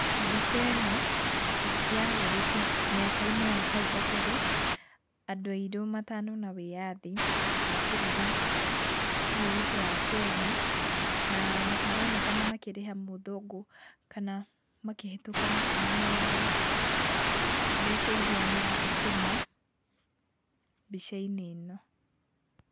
Mbica ĩno yahũrĩtwo mĩaka-inĩ ya hau kabere, andũ airũ matanona wĩyathi wa bũrũri ũyũ witũ wa Kenya. Na maronekana makĩrĩha mũthũngũ kana makĩhĩtũka makĩmũneaga mbeca irĩa mathũkũma mbica-inĩ ĩno.